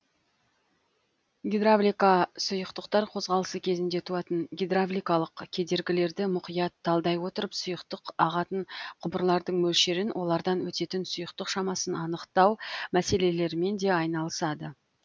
гидравлика сұйықтықтар қозғалысы кезінде туатын гидравликалық кедергілерді мұқият талдай отырып сұйықтық ағатын құбырлардың мөлшерін олардан өтетін сұйықтық шамасын анықтау мәселелерімен де айналысады